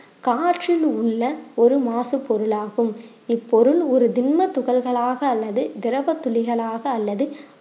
காற்றிலுள்ள ஒரு மாசு பொருளாகும் இப்பொருள் ஒரு தின்ம துகள்களாக அல்லது திரவ துளிகளாக அல்லது